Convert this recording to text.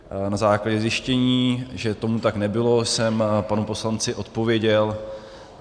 Na základě zjištění, že tomu tak nebylo, jsem panu poslanci odpověděl.